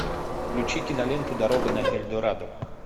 включи киноленту дорога на эльдорадо